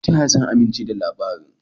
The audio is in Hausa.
Ta ya zan aminche da labarin?